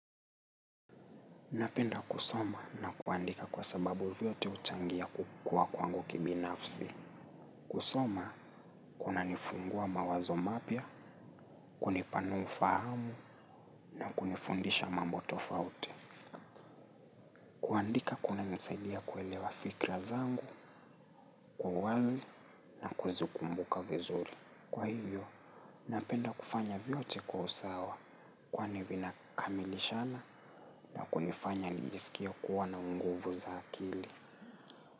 Napenda kusoma na kuandika kwa sababu vyote huchangia kukua kwangu kibinafsi. Kusoma, kuna nifungua mawazo mapya, kunipanua ufahamu na kunifundisha mambo tofauti. Kuandika kuna nisaidia kuelewa fikra zangu, kwa uwali na kuzukumbuka vizuri. Kwa hivyo, napenda kufanya vyote, kwa usawa. Kwani vinakamilishana na kunifanya nijisikie kuwa na unguvu za akili.